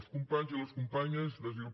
els companys i les companyes d’asil